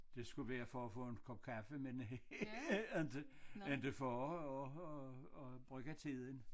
Det skulle være for at få en kop cafe men ikke ikke for at at at bruge tiden